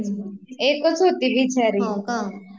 हो का